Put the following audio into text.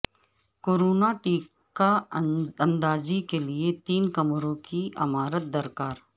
corona ٹیکہ اندازی کیلئے تین کمروں کی عمارت درکار